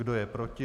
Kdo je proti?